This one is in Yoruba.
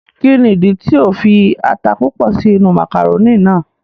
Ki ni ìdí tí o fi ata púpọ sí inú màkàrónì náà?